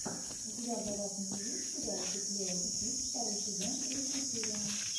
у тебя в загашнике есть сериальчик лео и тиг второй сезон третья серия